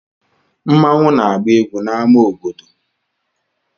Nmanwu na-agba egwu na ama obodo.